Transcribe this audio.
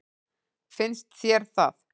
Finnst þér það?